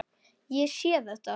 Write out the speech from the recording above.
Ég sé þetta.